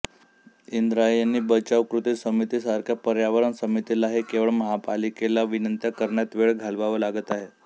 इंद्रायणी बचाव कृती समिती सारख्या पर्यावरण समितीलाही केवळ महापालिकेला विनंत्या करण्यात वेळ घालवावा लागत आहे